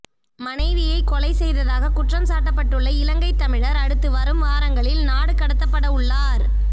மனைவியைக் கொலை செய்ததாக குற்றம் சாட்டப்பட்டுள்ள இலங்கைத் தமிழர் அடுத்து வரும் வாரங்களில் நாடு கடத்தப்படவுள்ளார்